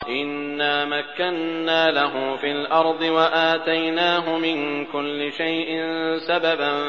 إِنَّا مَكَّنَّا لَهُ فِي الْأَرْضِ وَآتَيْنَاهُ مِن كُلِّ شَيْءٍ سَبَبًا